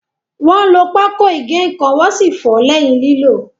Wọ́n lo pákó ígè ǹkan wọ́n sì fọ̀ọ́ lẹ́yìn lílò.